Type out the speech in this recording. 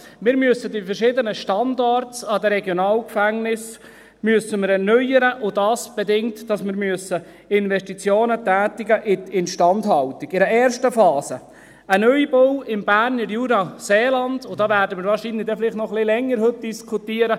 Wir müssen die verschiedenen Standards an den Regionalgefängnissen erneuern, und dies bedingt, dass wir Investitionen in die Instandhaltung tätigen müssen, in einer ersten Phase in einen Neubau im Berner Jura-Seeland, und darüber werden wir heute wahrscheinlich noch ein wenig länger diskutieren.